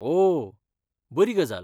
ओह, बरी गजाल!